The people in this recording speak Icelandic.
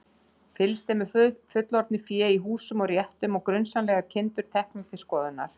Fylgst er með fullorðnu fé í húsum og réttum og grunsamlegar kindur teknar til skoðunar.